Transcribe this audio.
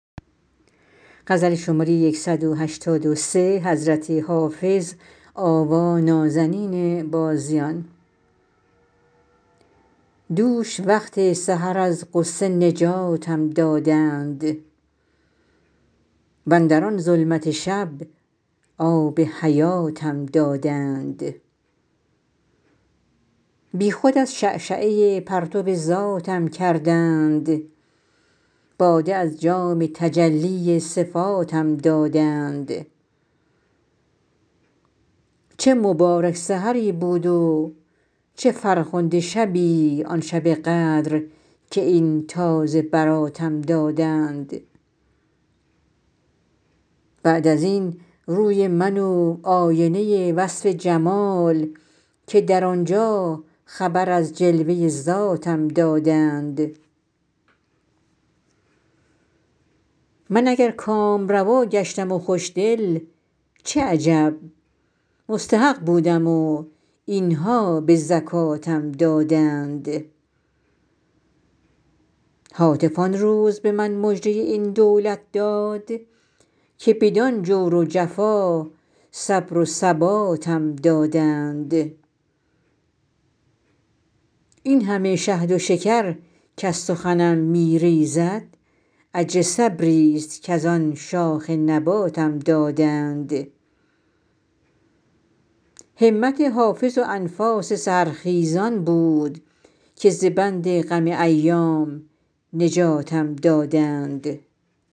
دوش وقت سحر از غصه نجاتم دادند واندر آن ظلمت شب آب حیاتم دادند بی خود از شعشعه پرتو ذاتم کردند باده از جام تجلی صفاتم دادند چه مبارک سحری بود و چه فرخنده شبی آن شب قدر که این تازه براتم دادند بعد از این روی من و آینه وصف جمال که در آن جا خبر از جلوه ذاتم دادند من اگر کامروا گشتم و خوش دل چه عجب مستحق بودم و این ها به زکاتم دادند هاتف آن روز به من مژده این دولت داد که بدان جور و جفا صبر و ثباتم دادند این همه شهد و شکر کز سخنم می ریزد اجر صبری ست کز آن شاخ نباتم دادند همت حافظ و انفاس سحرخیزان بود که ز بند غم ایام نجاتم دادند